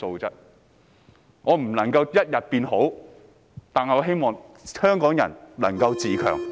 即使無法一步登天，我也希望香港人能夠自強。